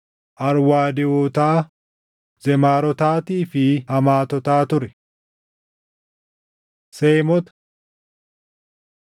Arwaadewotaa, Zemaarotaatii fi Hamaatotaa ture. Seemota 1:17‑23 kwf – Uma 10:21‑31; 11:10‑27